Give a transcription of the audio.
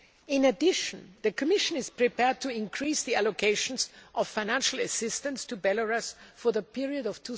In addition, the Commission is prepared to increase the allocations of financial assistance to Belarus for the period of